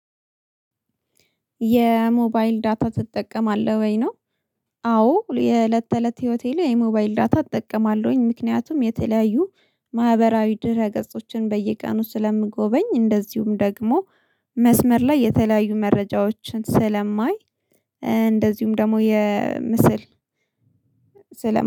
የሞባይል ዳታ ትጠቀማለህ ወይ ነው? አዎ የእለት ተእለት ህይወቴ ላይ የሞባይል ዳታ እጠቀማለሁኝ። ምክንያቱም የተለያዩ ማህበራዊ ድረ ገጾችን በየቀኑ ስለምጎበኝ እንደዚሁም ደግሞ መስመር ላይ የተለያዩ መረጃዎችን ስለማይ እንደዚሁም ደግሞ የምስል ስለ